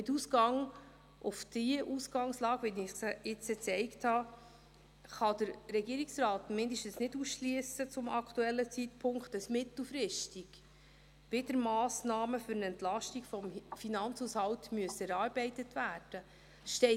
Mit der Ausgangslage, wie ich sie jetzt aufgezeigt habe, kann der Regierungsrat zum aktuellen Zeitpunkt mindestens nicht ausschliessen, dass mittelfristig wieder Massnahmen für eine Entlastung des Finanzhaushalts erarbeitet werden müssen.